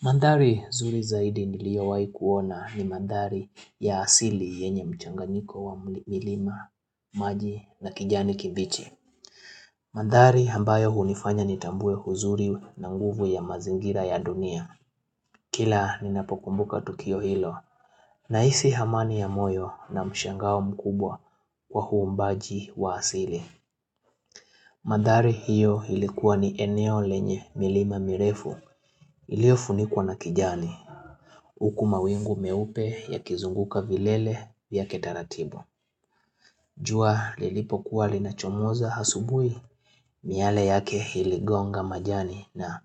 Mandhari nzuri zaidi niliowahi kuona ni mandhari ya asili yenye mchanganyiko wa milima, maji na kijani kibichi. Maandhari ambayo hunifanya nitambue uzuri na nguvu ya mazingira ya dunia. Kila ninapokumbuka tukio hilo nahisi amani ya moyo na mshangao mkubwa kwa huu umbaji wa asili. Mandhari hiyo ilikuwa ni eneo lenye milima mirefu iliofunikuwa na kijani. Huku mawingu meupe yakizunguka vilele yake taratibu jua lilipokuwa linachomoza asubuhi miale yake iligonga majani na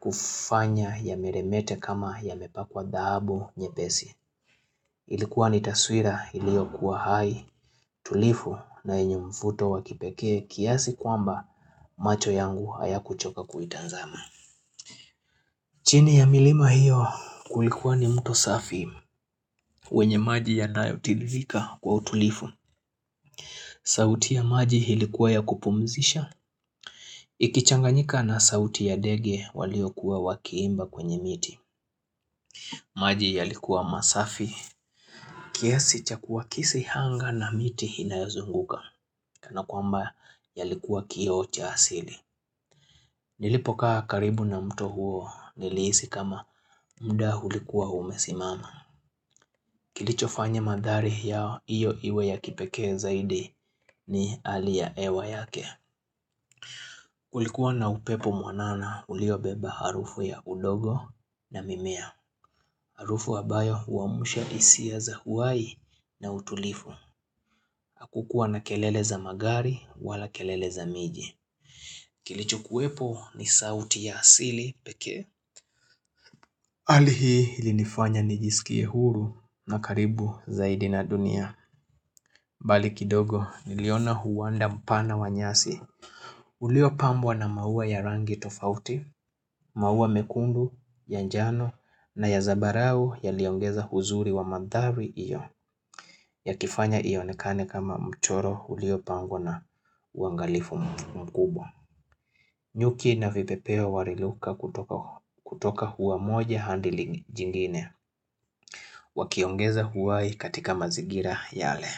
kufanya yameremete kama yamepakwa dhahabu nyepesi Ilikuwa ni taswira iliokuwa hai tulivu na yenye mvuto wa kipekee kiasi kwamba macho yangu hayakuchoka kuitazama chini ya milima hiyo kulikuwa ni mto safi wenye maji yanayotiririka kwa utulivu. Sauti ya maji ilikuwa ya kupumzisha. Ikichanganyika na sauti ya ndege waliokuwa wakiimba kwenye miti. Maji yalikuwa masafi. Kiasi chakua kisihanga na miti inayozunguka. Kana kwamba yalikuwa kioo cha asili. Nilipokaa karibu na mtu huo nilihisi kama muda ulikuwa umesimama. Kilichofanya mandhari yao iyo iwe ya kipekee zaidi ni hali ya hewa yake Kulikuwa na upepo mwanana uliobeba harufu ya udongo na mimea Harufu ambayo huwamusha hisia za uhai na utulivu kukuwa na kelele za magari wala kelele za miji Kilicho kuwepo ni sauti ya asili peke hali hii ilinifanya nijisikie huru na karibu zaidi na dunia bali kidogo, niliona huwanda mpana wa nyasi Uliopambwa na maua ya rangi tofauti maua mekundu, ya njano na ya zambarau yaliongeza uzuri wa mandhari hiyo yakifanya iyonekane kama mchoro uliopangwa na uangalifu mkubwa nyuki na vipepeo waliruka kutoka ua moja hadi jingine Wakiongeza huwai katika mazingira yale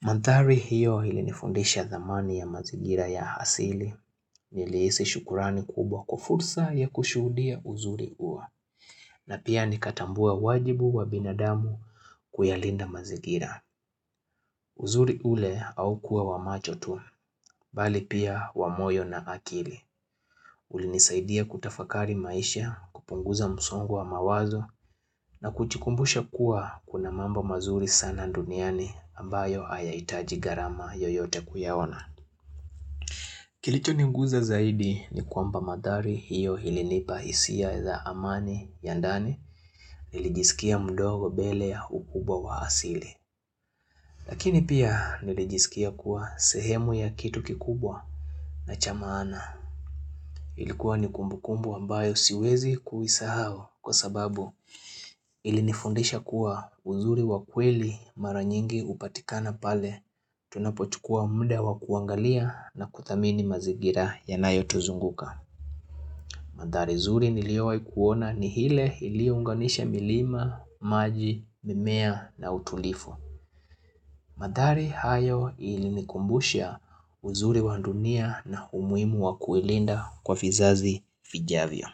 Manthari hiyo ilinifundisha dhamani ya mazingira ya asili nilihisi shukurani kubwa kwa fursa ya kushuhudia uzuri huo na pia nikatambua wajibu wa binadamu kuyalinda mazingira. Uzuri ule haukuwa wa macho tu, bali pia wa moyo na akili. Ulinisaidia kutafakari maisha, kupunguza msongo wa mawazo na kujikumbusha kuwa kuna mambo mazuri sana duniani ambayo hayahitaji gharama yoyote kuyaona. Kilichoniguza zaidi ni kwamba mandhari hiyo ilinipa hisia za amani ya ndani nilijisikia mdogo mbele ya ukubwa wa asili. Lakini pia nilijisikia kuwa sehemu ya kitu kikubwa na cha maana. Ilikuwa ni kumbukumbu ambayo siwezi kuisahau kwa sababu ilinifundisha kuwa uzuri wa kweli mara nyingi hupatikana pale tunapochukua muda wa kuangalia na kuthamini mazingira yanayotuzunguka. Mandhari zuri niliowaikuona ni ile iliounganisha milima, maji, mimea na utulivu. Mandhari hayo ilinikumbusha uzuri wa dunia na umuhimu wa kuilinda kwa vizazi vijavyo.